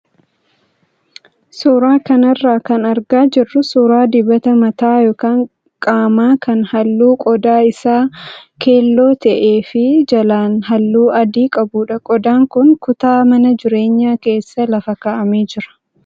Suuraa kanarraa kan argaa jirru suuraa dibata mataa yookaan qaamaa kan halluun qodaa isaa keelloo ta'ee fi jalaan halluu adii qabudha. Qodaan kun kutaa mana jireenyaa keessa lafa kaa'amee jira.